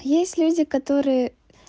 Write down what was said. есть люди которые